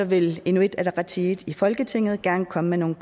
vil inuit ataqatigiit i folketinget gerne komme med nogle